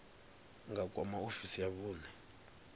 nga kwama ofisi ya vhune